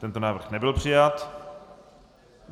Tento návrh nebyl přijat.